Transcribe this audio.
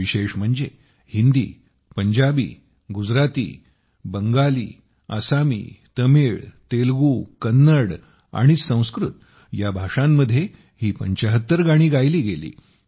विशेष म्हणजे हिंदी पंजाबी गुजराती बंगाली आसामी तमिळ तेलगू कन्नड आणि संस्कृत या भाषांमध्ये ही 75 गाणी गायली गेली